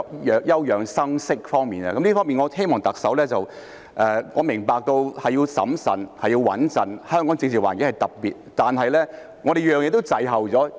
在這方面，我希望特首......我明白要審慎和"穩陣"，香港的政治環境是特別的，但是，我們每件事都滯後。